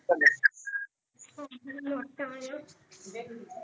ਚੰਗਾ